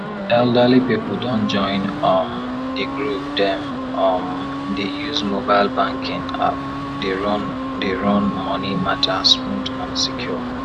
elderly people don join um the groove dem um dey use mobile banking app dey run dey run money matter smooth and secure